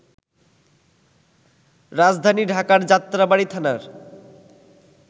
রাজধানী ঢাকার যাত্রাবাড়ী থানার